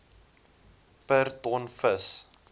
per ton vis